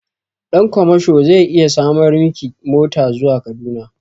Ɗan kwamasho zai iya samar miki mota zuwa Kaduna.